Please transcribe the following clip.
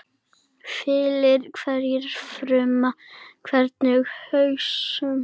Fyllir hverja frumu, hverja hugsun.